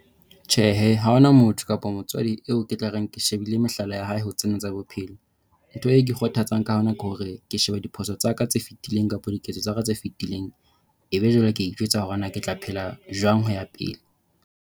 Tjhe, ha hona motho kapa motswadi eo ke tla reng ke shebile mehlala ya hae ho tsena tsa bophelo. Ntho eo ke ikgothatsang ka yona ke hore ke shebe diphoso tsa ka tse fetileng kapa diketso tsa ka tse fetileng. Ebe jwale ke a ijwetsa hore na ke tla phela jwang ho ya pele.